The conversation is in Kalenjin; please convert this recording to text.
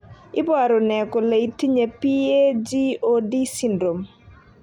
iporu ne kole itinye PAGOD syndrome?